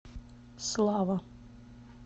слава